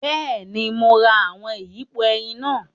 Bẹẹni, Mo rá awọn iyipo ẹyin náà